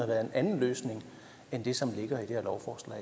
været en anden løsning end den som ligger i det her lovforslag